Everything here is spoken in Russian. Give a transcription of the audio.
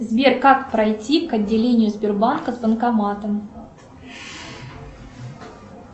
сбер как пройти к отделению сбербанка с банкоматом